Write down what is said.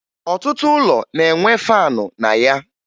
Ọtụtụ ụlọ na-enwe faanụ na ya